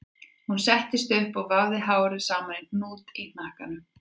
Hún settist upp og vafði hárið saman í hnút í hnakkanum